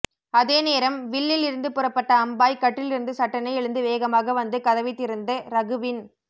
அேத ேநரம் வில்லில் இருந்து புறப்பட்ட அம்பாய் கட்டிலிருந்து சட்ெடன எழுந்து ேவகமாக வந்து கதைவத் திறந்து ரகுவின்